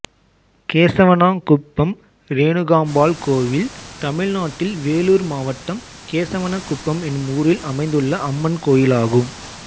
கேசவனாங்குப்பம் ரேணுகாம்பாள் கோயில் தமிழ்நாட்டில் வேலூர் மாவட்டம் கேசவனாங்குப்பம் என்னும் ஊரில் அமைந்துள்ள அம்மன் கோயிலாகும்